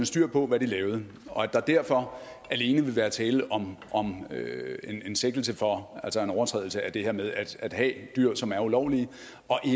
styr på hvad de lavede og at der derfor alene vil være tale om en sigtelse for en overtrædelse af det her med at have dyr som er ulovlige og